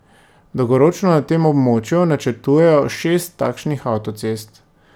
Dolgoročno na tem območju načrtujejo šest takšnih avtocest.